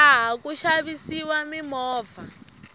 laha ku xavisiwa mimovha